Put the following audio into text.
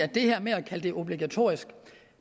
det her med at kalde det obligatorisk